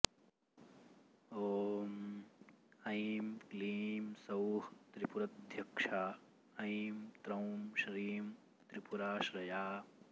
ॐ ऐं क्लीं सौः त्रिपुरध्यक्षा ऐं त्रौं श्रीं त्रिपुराऽऽश्रया